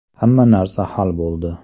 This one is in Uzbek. Hamma narsa hal bo‘ldi.